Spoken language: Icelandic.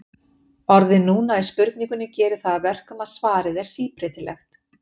orðið núna í spurningunni gerir það að verkum að svarið er síbreytilegt